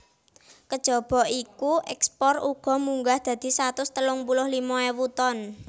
Kejaba iku ekspore uga munggah dadi satus telung puluh limo ewu ton